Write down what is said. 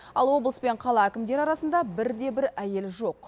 ал облыс пен қала әкімдері арасында бір де бір әйел жоқ